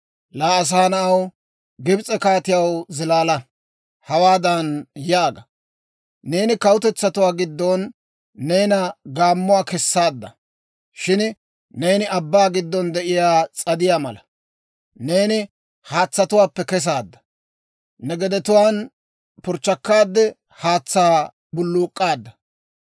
«Laa asaa na'aw, Gibs'e kaatiyaw zilaala! Hawaadan yaaga; ‹Neeni kawutetsatuwaa giddon neena gaammuwaa kessaadda; shin neeni abbaa giddon de'iyaa S'adiyaa mala. Neeni haatsatuwaappe kesaadda; ne gedetuwaan purchchakkaade, haatsaa bulluuk'k'aadda.